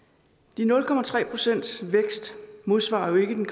de nul procents vækst modsvarer jo ikke